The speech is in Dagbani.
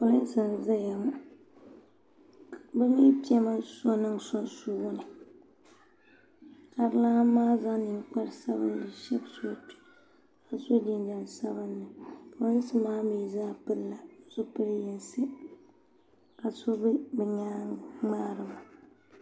Polinsi n zaya ŋɔ bi mi piɛla so niŋ sunsuuni ka di lani maa zaŋ ninkpara sabinli n shabisi o kpe ka so jinjam sabinli polinsi maa mi zaa pili la zipili yinisi ka so bɛ bi nyaanga ŋmaari ba.